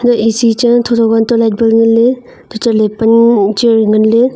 eh eshi chen thotho untoh light bul nganley untoh chatley pan chair wai nganley.